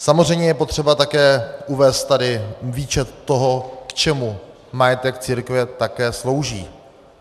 Samozřejmě je potřeba také uvést tady výčet toho, k čemu majetek církve také slouží.